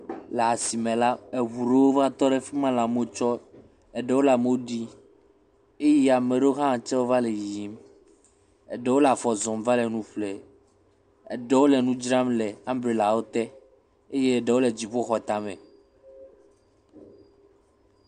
Le asime la, eŋu aɖewo va tɔ ɖe afi ma le amewo tsɔm eɖewo le amewo ɖim eye amea ɖewo tse va le yiyim. Eɖewo le afɔ zɔm va le nu ƒlem. Eɖewo le nu dzram le amblelawo te eye eɖewo le dziƒoxɔtame.